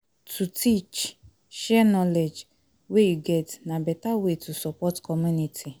To teach, share knowledge wey you get na beta way to support community